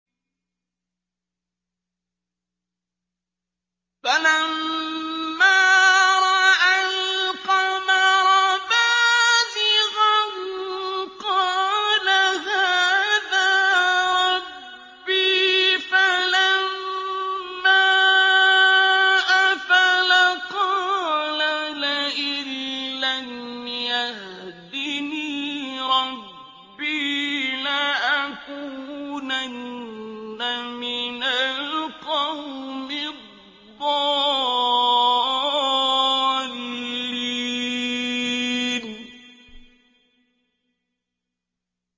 فَلَمَّا رَأَى الْقَمَرَ بَازِغًا قَالَ هَٰذَا رَبِّي ۖ فَلَمَّا أَفَلَ قَالَ لَئِن لَّمْ يَهْدِنِي رَبِّي لَأَكُونَنَّ مِنَ الْقَوْمِ الضَّالِّينَ